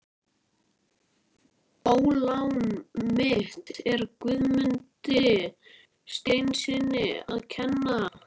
Ólán mitt er Guðmundi Sveinssyni að kenna.